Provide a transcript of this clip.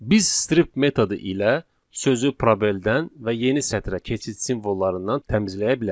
Biz strip metodu ilə sözü probeldən və yeni sətrə keçid simvollarından təmizləyə bilərik.